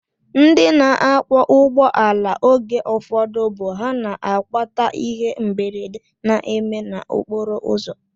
Ndị na-akwọ ụgbọala oge ụfọdụ bụ ha na-akpata ihe mberede na-eme n'okporoụzọ